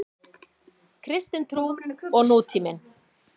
Kristin trú og nútíminn.